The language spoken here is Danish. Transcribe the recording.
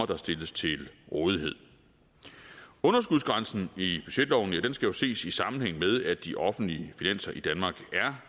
der stilles til rådighed underskudsgrænsen i budgetloven skal jo ses i sammenhæng med at de offentlige finanser i danmark er